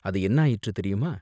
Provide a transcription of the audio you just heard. அது என்ன ஆயிற்று தெரியுமா?